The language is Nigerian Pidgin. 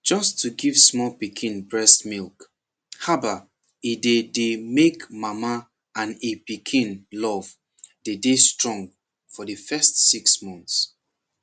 just to give small pikin breast milk haba e dey dey make mama and e pikin love dey dey strong for de first six months